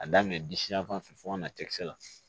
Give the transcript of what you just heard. A daminɛ disiyanfan fɛ fɔ ka na cɛkisɛ la